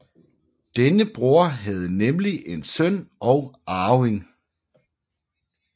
Denne bror havde nemlig en søn og arving